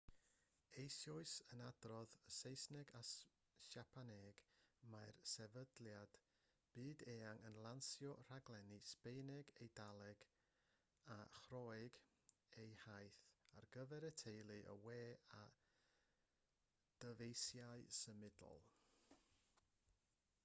eisoes yn adrodd yn saesneg a siapaneg mae'r sefydliad byd-eang yn lansio rhaglenni sbaeneg eidaleg a chorëeg eu hiaith ar gyfer y teledu y we a dyfeisiau symudol